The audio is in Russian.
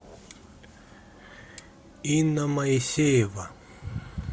инна моисеева